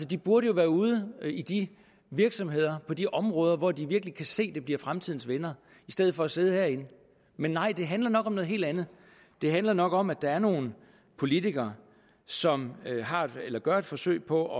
de burde jo være ude i de virksomheder på de områder hvor de virkelig kan se at det bliver fremtidens vindere i stedet for at sidde herinde men nej det handler nok om noget helt andet det handler nok om at der er nogle politikere som gør et forsøg på